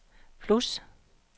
plus